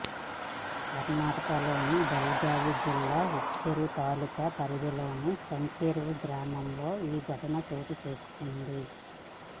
కర్ణాటకలోని బెళగావి జిల్లా హుక్కేరి తాలూకా పరిధిలోని సంకేశ్వర్ గ్రామంలో ఈ ఘటన చోటు చేసుకుంది